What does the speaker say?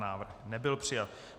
Návrh nebyl přijat.